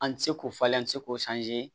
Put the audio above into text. An ti se k'o falen an ti se k'o